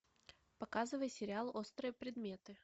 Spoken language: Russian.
показывай сериал острые предметы